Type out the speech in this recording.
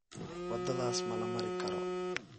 Wadadhas mala marikaro.